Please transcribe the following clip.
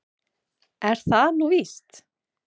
Er það nú víst?